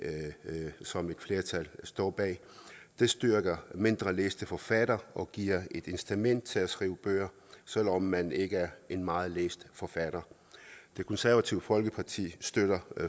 som et flertal står bag det styrker mindre læste forfattere og giver et incitament til at skrive bøger selv om man ikke er en meget læst forfatter det konservative folkeparti støtter